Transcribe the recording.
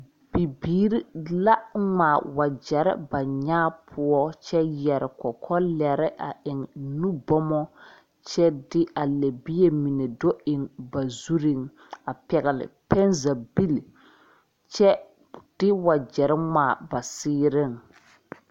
Bibiire la ngmaa wagyɛre ba nyaa poɔ kyɛ yɛre kɔkɔ lɛre a eŋ nu bɔmɔ kyɛ de a lɛbie mine do eŋ ba zureŋ a pɛgle pɛnzagebile kyɛ de wagyɛ ngmaa ba seereŋ.